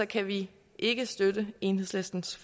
kan vi ikke støtte enhedslistens